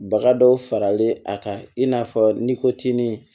Baga dɔw faralen a kan i n'a fɔ n'i ko tin